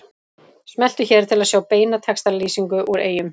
Smelltu hér til að sjá beina textalýsingu úr Eyjum